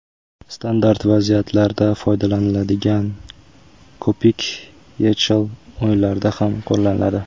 Standart vaziyatlarda foydalaniladigan ko‘pik YeChL o‘yinlarida ham qo‘llaniladi.